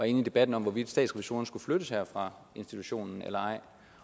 inde i debatten om hvorvidt statsrevisorerne skulle flyttes her fra institutionen eller ej